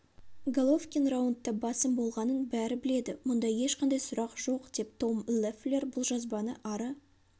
головкин раундта басым болғанын бәрі біледі мұнда ешқандай сұрақ жоқ деп том леффлер бұл жазбаны ары